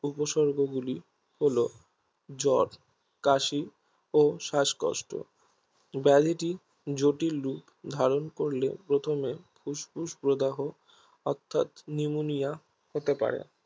উপসর্গগুলি হলো জ্বর কাশি ও শ্বাসকষ্ট ব্যাধিটি জটিল রুপ ধারন করলে প্রথমে ফুস্ফুস প্রদাহ অর্থাৎ Pneumonia হতে পারে